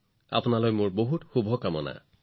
আপোনালৈ মোৰ শুভেচ্ছা থাকিল